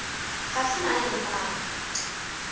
ga se mang le mang